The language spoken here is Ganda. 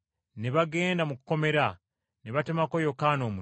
Ne bagenda mu kkomera, ne batemako Yokaana omutwe